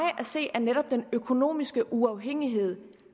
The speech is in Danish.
at se er netop den økonomiske uafhængighed